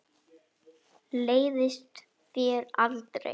Leiðist þér aldrei?